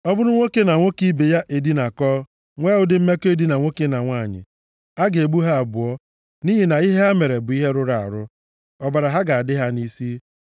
“ ‘Ọ bụrụ nwoke na nwoke ibe ya edinakọọ nwee ụdị mmekọ edina nwoke na nwanyị, a ga-egbu ha abụọ nʼihi na ihe ha mere bụ ihe rụrụ arụ. Ọbara ha ga-adị ha nʼisi.